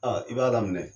i b'a daminɛ